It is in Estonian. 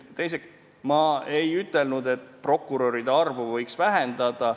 Teiseks, ma ei ütelnud, et prokuröride arvu võiks vähendada.